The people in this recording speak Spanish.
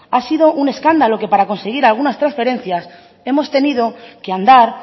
ha sido un escándalo que para conseguir algunas transferencias hemos tenido que andar